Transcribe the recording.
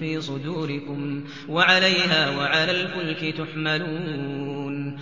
فِي صُدُورِكُمْ وَعَلَيْهَا وَعَلَى الْفُلْكِ تُحْمَلُونَ